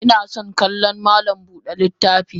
Inason kallon malam Buda littafi.